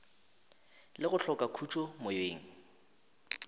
le go hloka khutšo moyeng